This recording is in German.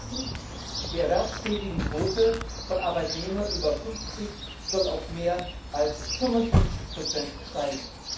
Erstens Die Erwerbstätigenquote von Arbeitnehmern über 50 soll auf mehr als 55 steigen.